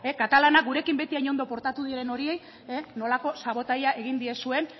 katalanak gurekin beti hain ondo portatu diren horiei nolako sabotajea egin diezuen